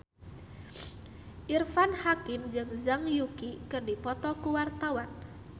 Irfan Hakim jeung Zhang Yuqi keur dipoto ku wartawan